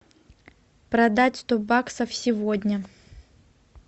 продать сто баксов сегодня